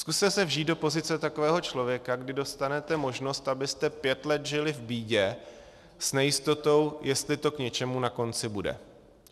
Zkuste se vžít do pozice takového člověka, kdy dostanete možnost, abyste pět let žili v bídě s nejistotou, jestli to k něčemu na konci bude.